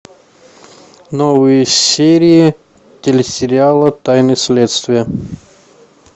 новые серии телесериала тайны следствия